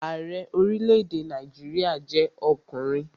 Ààrẹ orílẹ̀-èdè Nàìjíríà jẹ́ ọkùnrin